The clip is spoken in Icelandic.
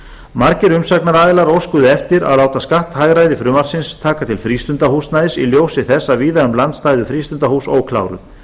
margir umsagnaraðilar óskuðu eftir að láta skatthagræði frumvarpsins taka til frístundahúsnæðis í ljósi þess að víða um land stæðu frístundahús ókláruð